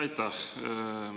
Aitäh!